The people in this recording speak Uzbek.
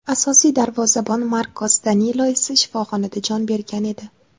Asosiy darvozabon Markos Danilo esa shifoxonada jon bergan edi.